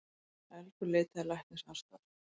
Elgur leitaði læknisaðstoðar